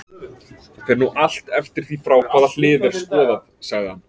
Það fer nú allt eftir því frá hvaða hlið er skoðað, sagði hann.